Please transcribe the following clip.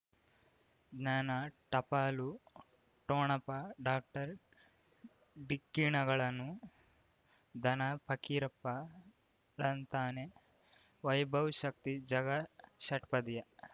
ಜ್ಞಾನ ಟಪಾಲು ಠೊಣಪ ಡಾಕ್ಟರ್ ಢಿಕ್ಕಿ ಣಗಳನು ಧನ ಫಕೀರಪ್ಪ ಳಂತಾನೆ ವೈಭವ್ ಶಕ್ತಿ ಝಗಾ ಷಟ್ಪದಿಯ